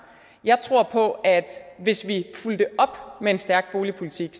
jeg tror på at hvis vi fulgte det op med en stærk boligpolitik